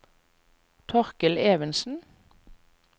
Torkel Evensen